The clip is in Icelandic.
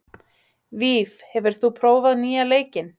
Víf, hefur þú prófað nýja leikinn?